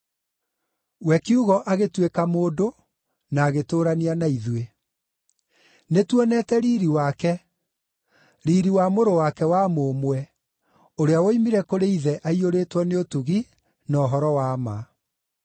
We Kiugo agĩtuĩka mũndũ na agĩtũũrania na ithuĩ. Nĩtuonete riiri wake, riiri wa Mũrũ wake wa Mũmwe, ũrĩa woimire kũrĩ Ithe aiyũrĩtwo nĩ ũtugi na ũhoro wa ma.